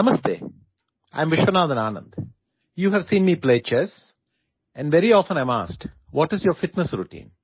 Namaste, I am Vishwanathan Anand you have seen me play Chess and very often I am asked, what is your fitness routine